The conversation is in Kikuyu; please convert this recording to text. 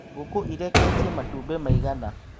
Ngũkũ ĩreketie matũmbĩ maigana